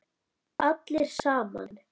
Allir saman.